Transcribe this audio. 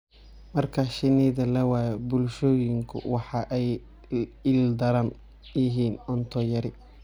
Marka shinnida la waayo, bulshooyinku waxa ay la ildaran yihiin cunto yari.